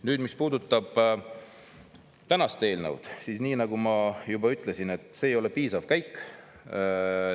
Nüüd, mis puudutab tänast eelnõu, siis nii nagu ma juba ütlesin, see ei ole piisav käik.